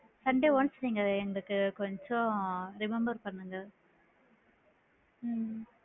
Sunday once எங்களுக்கு கொஞ்சம் remember பண்ணுங்க உம்